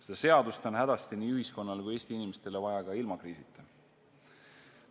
Seda seadust on hädasti nii ühiskonnale kui Eesti inimestele vaja ka ilma kriisita.